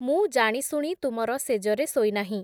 ମୁଁ ଜାଣିଶୁଣି ତୁମର ଶେଯରେ ଶୋଇ ନାହିଁ ।